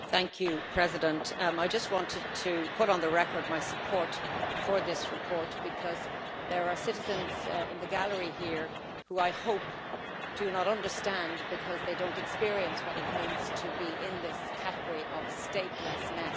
Mr President, I want to put on the record my support for this report because there are citizens in the gallery here who, I hope, do not understand because they have not experienced what it means to be in this category of statelessness.